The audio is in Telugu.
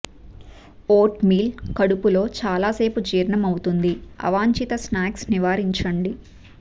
వోట్మీల్ కడుపులో చాలా సేపు జీర్ణమవుతుంది అవాంఛిత స్నాక్స్ నివారించండి